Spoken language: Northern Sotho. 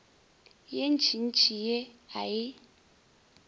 ye ntšintši ye a e